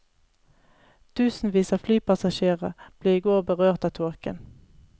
Tusenvis av flypassasjerer ble i går berørt av tåken.